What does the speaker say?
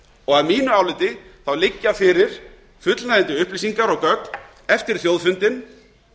og að mínu áliti liggja fyrir fullnægjandi upplýsingar og gögn eftir þjóðfundinn